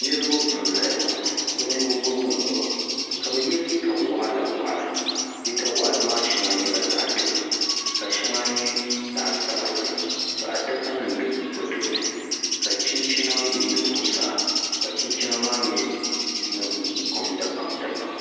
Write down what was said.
Niriba n zaya ŋɔ bi ninvuɣi bɔbigu n nyɛba ka bi ye liiga wɔɣila wɔɣila liiga wɔɣila maa shɛŋa nyɛla zaɣi dozim ka shɛŋa nyɛ zaɣi sabinli ka adaka nima do bi tooni ka chinchina mi yili zuɣusaa ka chinchina maa nyɛ kom dabam dabam.